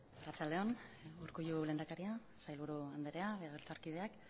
arratsalde on urkullu lehendakari sailburu andrea legebiltzarkideak